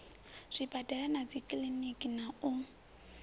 zwibadela na dzikiḽiniki na u